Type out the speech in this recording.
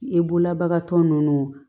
E bololabagatɔ ninnu